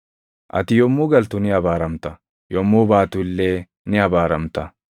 Ati yommuu galtu ni abaaramta; yommuu baatu illee ni abaaramta.